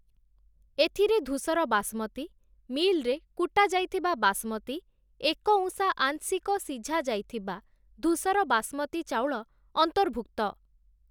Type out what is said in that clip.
ଏଥିରେ ଧୂସର ବାସମତୀ, ମିଲ୍‌ରେ କୁଟା ଯାଇଥିବା ବାସମତୀ, ଏକଉଁସା ଆଂଶିକ ସିଝାଯାଇଥିବା ଧୂସର ବାସମତୀ ଚାଉଳ ଅନ୍ତର୍ଭୁକ୍ତ ।